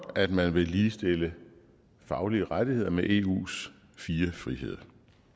at man vil ligestille faglige rettigheder med eus fire friheder